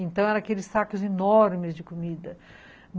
Então eram aqueles sacos enormes de comida.